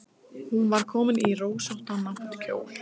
Hún var komin í rósóttan náttkjól.